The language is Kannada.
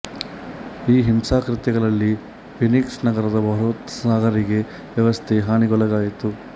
ಈ ಹಿಂಸಾಕೃತ್ಯಗಳಲ್ಲಿ ಫೀನಿಕ್ಸ್ ನಗರದ ಬೃಹತ್ ಸಾರಿಗೆ ವ್ಯವಸ್ಥೆ ಹಾನಿಗೊಳಗಾಯಿತು